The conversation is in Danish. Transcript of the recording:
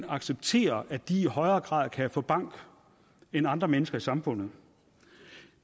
acceptere at de i højere grad kan få bank end andre mennesker i samfundet